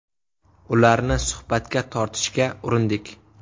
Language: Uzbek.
Ularni suhbatga tortishga urindik.